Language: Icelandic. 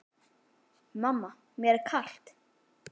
Mamma mér er kalt!